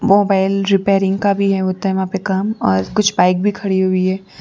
Mobile repairing का भी है होता है वहां पे काम और कुछ बाइक भी खड़ी हुई है।